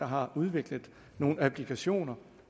har udviklet nogle applikationer